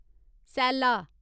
सैल्ला